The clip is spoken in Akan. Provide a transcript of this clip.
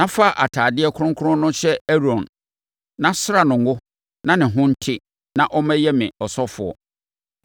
na fa atadeɛ kronkron no hyɛ Aaron, na sra no ngo na ne ho nte na ɔmmɛyɛ me ɔsɔfoɔ.